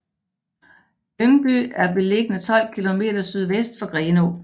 Lyngby er beliggende 12 kilometer sydvest for Grenaa